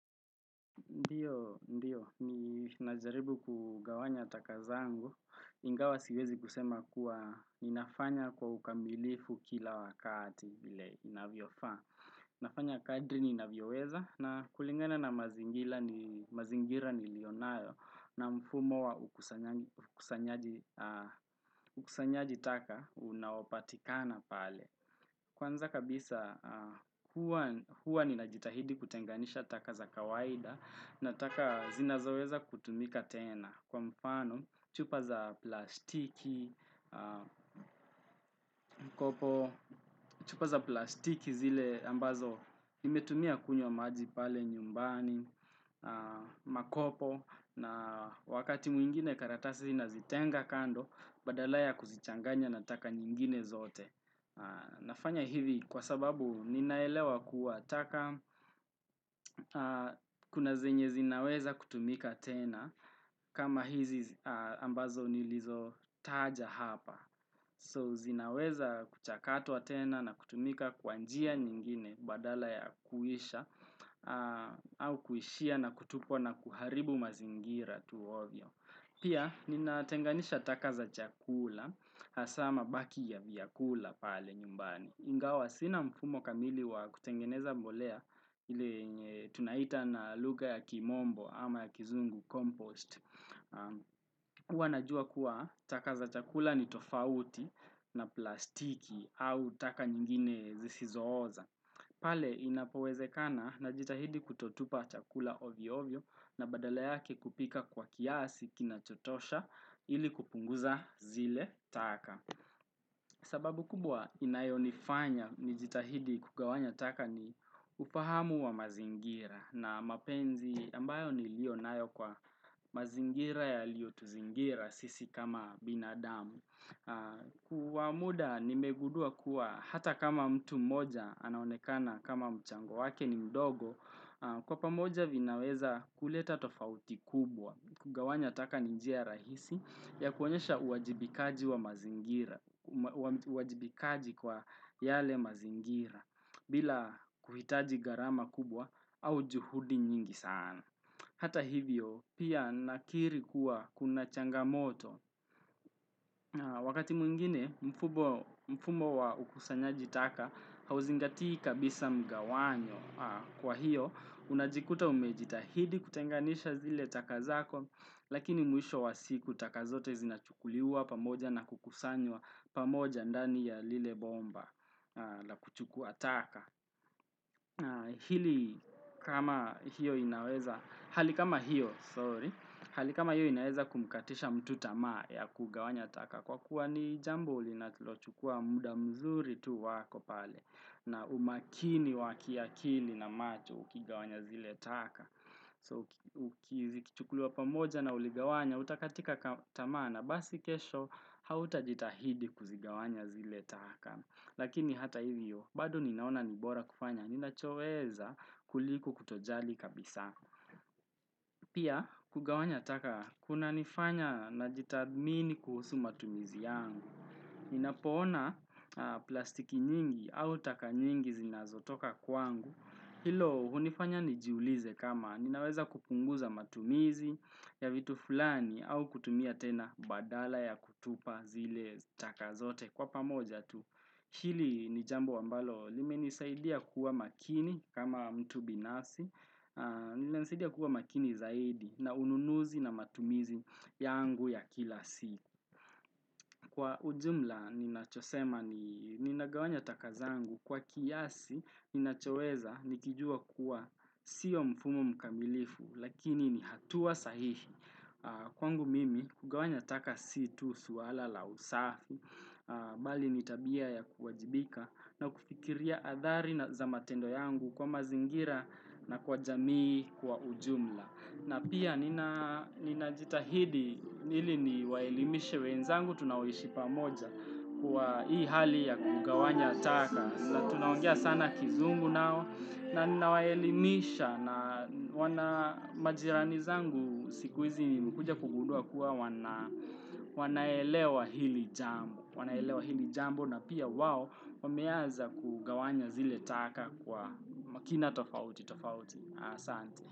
Ndiyo, ndiyo, ninajaribu kugawanya taka zangu, ingawa siwezi kusema kuwa ninafanya kwa ukamilifu kila wakati vile inavyofaa. Nafanya kadri ninavyoweza na kulingana na mazingira niliyonayo na mfumo wa ukusanyaji taka unaopatikana pale. Kwanza kabisa huwa ninajitahidi kutenganisha taka za kawaida na taka zinazoweza kutumika tena. Kwa mfano, chupa za plastiki, mkopo, chupa za plastiki zile ambazo nimetumia kunywa maji pale nyumbani, makopo, na wakati mwingine karatasi ninazitenga kando, badala ya kuzichanganya na taka nyingine zote. Nafanya hivi kwa sababu ninaelewa kuwa taka kuna zenye zinaweza kutumika tena kama hizi ambazo nilizotaja hapa. So zinaweza kuchakatwa tena na kutumika kwa njia nyingine badala ya kuisha au kuishia na kutupwa na kuharibu mazingira tu ovyo. Pia, ninatenganisha taka za chakula, hasa mabaki ya vyakula pale nyumbani. Ingawa, sina mfumo kamili wa kutengeneza mbolea ile tunaita na lugha ya kimombo ama ya kizungu compost. Huwa najua kuwa, taka za chakula ni tofauti na plastiki au taka nyingine zisizooza. Pale inapowezekana najitahidi kutotupa chakula ovyo-ovyo na badala yake kupika kwa kiasi kinachotosha ili kupunguza zile taka. Sababu kubwa inayonifanya nijitahidi kugawanya taka ni ufahamu wa mazingira na mapenzi ambayo niliyo nayo kwa mazingira yaliyotuzingira sisi kama binadamu. Kwa muda nimegundua kuwa hata kama mtu mmoja anaonekana kama mchango wake ni mdogo Kwa pamoja vinaweza kuleta tofauti kubwa kugawanya taka ni njia rahisi ya kuonesha uwajibikaji kwa yale mazingira bila kuhitaji gharama kubwa au juhudi nyingi sana Hata hivyo pia nakiri kuwa kuna changamoto Wakati mwingine mfumo wa ukusanyaji taka hauzingati kabisa mgawanyo kwa hiyo unajikuta umejitahidi kutenganisha zile taka zako Lakini mwisho wa siku taka zote zinachukuliwa pamoja na kukusanywa pamoja ndani ya lile bomba la kuchukua taka na hili kama hiyo inaweza, hali kama hiyo, sorry, hali kama hiyo inaweza kumkatisha mtu tamaa ya kugawanya taka kwa kuwa ni jambo linalochukua muda mzuri tu wako pale na umakini wa kiakili na macho ukigawanya zile taka. So, uki zikichukuliwa pamoja na uligawanya, utakatika tamaa na, basi kesho, hautajitahidi kuzigawanya zile taka. Lakini hata hivyo, bado ninaona nibora kufanya, ninachoweza kuliko kutojali kabisa. Pia, kugawanya taka, kunanifanya najitathmini kuhusu matumizi yangu. Ninapoona plastiki nyingi au taka nyingi zinazotoka kwangu. Hilo hunifanya nijiulize kama ninaweza kupunguza matumizi ya vitu fulani au kutumia tena badala ya kutupa zile taka zote kwa pamoja tu. Hili ni jambo ambalo limenisaidia kuwa makini kama mtu binasi. Inanisaidia kuwa makini zaidi na ununuzi na matumizi yangu ya kila siku. Kwa ujumla ninachosema ni ninagawanya taka zangu kwa kiasi ninachoweza nikijua kuwa sio mfumo mkamilifu lakini ni hatua sahihi kwangu mimi kugawanya taka si tu swala la usafi bali ni tabia ya kuwajibika na kufikiria athari na za matendo yangu kwa mazingira na kwa jamii kwa ujumla. Na pia ninajitahidi ili niwaelimishe wenzangu tunaoishi pamoja kwa hii hali ya kugawanya ataka. Na tunaongea sana kizungu nao na niwaelimisha na wana majirani zangu siku hizi nimekuja kugundua kuwa wanaelewa hili jambo. Wanaelewa hili jambo na pia wao wameaza kugawanya zile taka kwa makina tofauti tofauti.